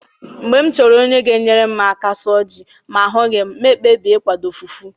Mgbe m chọrọ onye ga enyere m aka suo ji ma ahughi m, ma ekpebie ikwado fufu